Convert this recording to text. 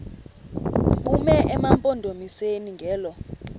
bume emampondomiseni ngelo